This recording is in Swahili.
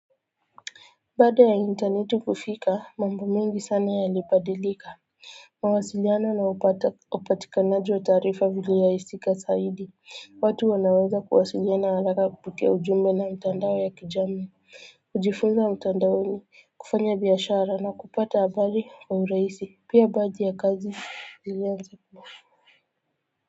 Baada ya interneti kufika mambo mengi sana yalibadilika mawasiliano na upatikanaji wa taarifa vili rahisika zaidi watu wanaweza kuwasiliana haraka kupitia ujumbe na mtandao ya kijamii kujifunza mtandaoni kufanya biashara na kupata habari kwa urahisi pia baji ya kazi liweza kuwa.